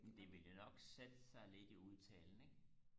det vil jo nok sætte sig lidt i udtalen ikke